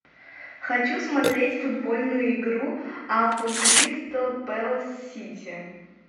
хочу смотреть футбольную игру апл кристал пэлас сити